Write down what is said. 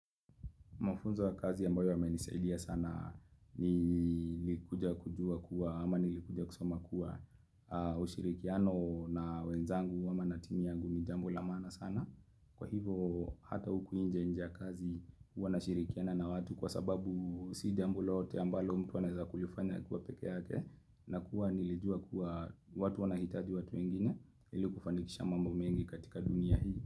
Mafunzo ya kazi ambayo yamenisaidia sana nilikuja kujua kuwa ama nilikuja kusoma kuwa ushirikiano na wenzangu ama na timu yangu ni jambo la maana sana. Kwa hivyo hata huku nje nje ya kazi huwa nashirikiana na watu kwa sababu si jambo lote ambalo mtu anaeza kulifanya akiwa peke yake na kuwa nilijua kuwa watu wanahitaji watu wengine ili kufanikisha mambo mengi katika dunia hii.